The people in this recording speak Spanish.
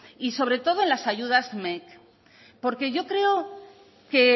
y sobre todo en las ayudas mec porque yo creo que